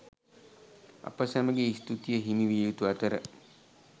අප සැමගේ ස්තූතිය හිමි විය යුතු අතර